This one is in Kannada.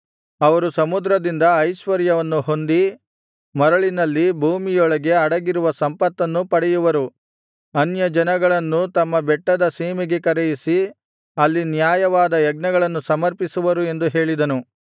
ಅವರು ಸಮುದ್ರದಿಂದ ಐಶ್ವರ್ಯವನ್ನು ಹೊಂದಿ ಮರಳಿನಲ್ಲಿ ಭೂಮಿಯೊಳಗೆ ಅಡಗಿರುವ ಸಂಪತ್ತನ್ನು ಪಡೆಯುವರು ಅನ್ಯಜನಗಳನ್ನು ತಮ್ಮ ಬೆಟ್ಟದ ಸೀಮೆಗೆ ಕರೆಯಿಸಿ ಅಲ್ಲಿ ನ್ಯಾಯವಾದ ಯಜ್ಞಗಳನ್ನು ಸಮರ್ಪಿಸುವರು ಎಂದು ಹೇಳಿದನು